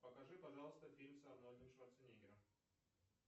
покажи пожалуйста фильм с арнольдом шварцнеггером